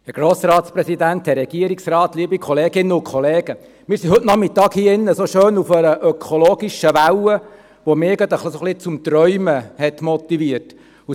Wir sind heute Nachmittag hier drin so schön auf der ökologischen Welle, die mich zum Träumen motivierte.